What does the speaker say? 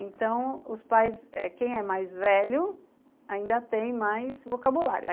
Então, os pais, eh quem é mais velho, ainda tem mais vocabulário.